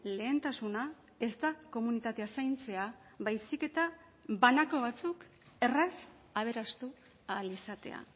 lehentasuna ez da komunitatea zaintzea baizik eta banako batzuk erraz aberastu ahal izatea